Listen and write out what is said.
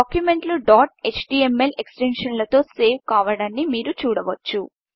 డాక్యుమెంట్లు dot HTML ఎక్స్ టెన్షన్లో సేవ్ కావడాన్ని మీరు చూడవచ్చు